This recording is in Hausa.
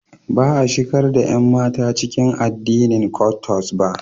Ba a shigar da ƴanmata cikin addinin Kwottos ba.